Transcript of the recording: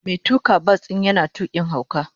Mai tuka bas din yana tukin hauka.